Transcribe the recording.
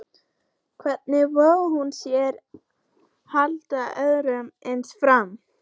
Hvernig vogaði hún sér að halda öðru eins fram?